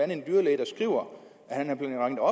en dyrlæge der skriver at han